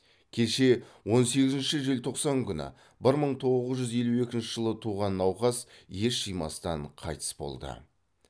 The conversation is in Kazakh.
кеше он сегізінші желтоқсан күні бір мың тоғыз жүз елу екінші жылы туған науқас ес жимастан қайтыс болды